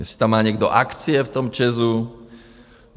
Jestli tam má někdo akcie v tom ČEZu?